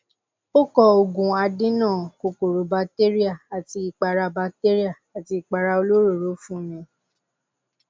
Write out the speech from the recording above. ó kọ òògùn adènà kòkòrò batéríà àti ìpara batéríà àti ìpara olóròóró fún mi